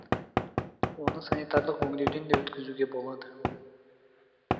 оны санитарлық өңдеуден де өткізуге болады